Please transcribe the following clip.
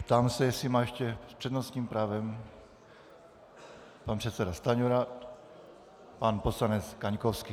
Ptám se, jestli má ještě... s přednostním právem pan předseda Stanjura, pan poslanec Kaňkovský.